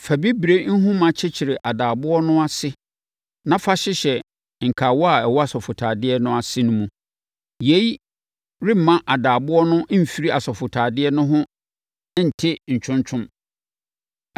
Fa bibire nhoma kyekyere adaaboɔ no ase na fa hyehyɛ nkawa a ɛwɔ asɔfotadeɛ no ase no mu. Yei remma adaaboɔ no mfiri asɔfotadeɛ no ho nte ntwontwɔn.